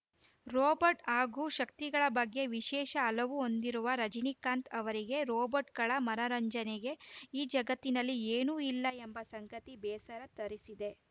robot ಹಾಗೂ ಶಕ್ತಿಗಳ ಬಗ್ಗೆ ವಿಶೇಷ ಹಲವು ಹೊಂದಿರುವ ರಜನೀಕಾಂತ್‌ ಅವರಿಗೆ ರೊಬೊಟ್‌ಗಳ ಮನರಂಜನೆಗೆ ಈ ಜಗತ್ತಿನಲ್ಲಿ ಏನೂ ಇಲ್ಲ ಎಂಬ ಸಂಗತಿ ಬೇಸರ ತರಿಸಿದೆ